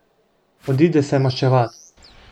Odide se maščevat.